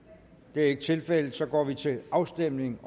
det er ikke tilfældet så går vi til afstemning